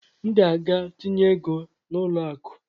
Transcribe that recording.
M ga-aga tinye ego a n'ụlọ akụ